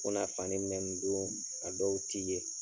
U bena fani min dun, a dɔw ti ye.